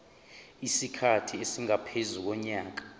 isikhathi esingaphezu konyaka